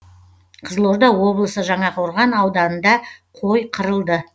қызылорда облысы жаңақорған ауданында қой қырылды